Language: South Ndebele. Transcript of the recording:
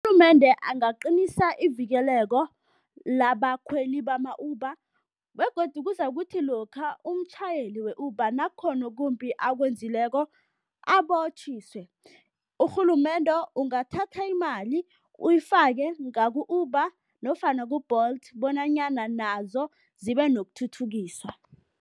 Urhulumende angaqinisa ivikeleko labakhweli bama-Uber begodu kuzakuthi lokha umtjhayeli we-Uber nakukhona okumbi akwenzileko, abotjhiswe. Urhulumende ungathatha imali uyifake ngaku-Uber nofana ku-Bolt bonanyana nazo zibe nokuthuthukiswa.